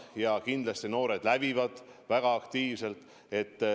Ja kindlasti noored lävivad väga aktiivselt.